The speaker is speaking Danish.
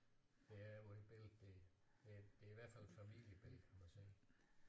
Der er på det billede der det det er i hvert fald et familiebillede kan man se